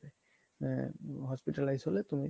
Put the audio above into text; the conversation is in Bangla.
আ~ hospitalize হলে তুমি